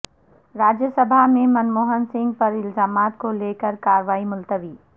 راجیہ سبھا میں منموہن سنگھ پر الزامات کو لے کرکاروائی ملتوی